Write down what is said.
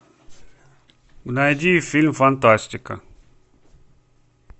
найди фильм фантастика